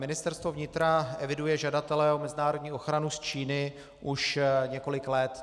Ministerstvo vnitra eviduje žadatele o mezinárodní ochranu z Číny už několik let.